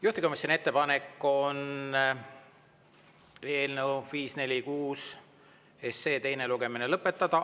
Juhtivkomisjoni ettepanek on eelnõu 546 teine lugemine lõpetada.